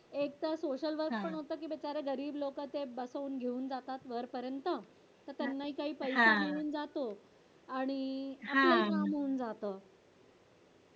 एक तर social work पण होत ते बिचारे गरीब लोक आहेत ते घेऊन जातात वर पर्यंत त्यांनाही काही पैसा मिळून जातो आणि आपलंही काम होऊन जात